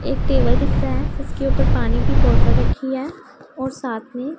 एक टेबल दिख रहा है उसके ऊपर पानी की बोटल रखी है और साथ में--